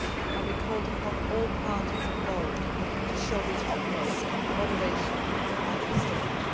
and we called upon all parties involved to show the utmost moderation and restraint.